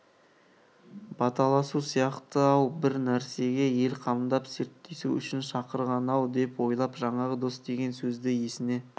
баталасу сияқты-ау бір нәрсеге ел қамдап серттесу үшін шақырған-ау деп ойлап жаңағы дос деген сөзді есіне